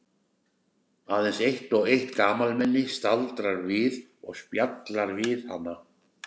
Aðeins eitt og eitt gamalmenni sem staldrar við og spjallar við hana.